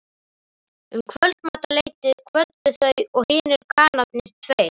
Um kvöldmatarleytið kvöddu þau og hinir kanarnir tveir.